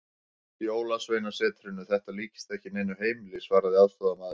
Jólasveinasetrinu, þetta líkist ekki neinu heimili, svaraði aðstoðarmaðurinn.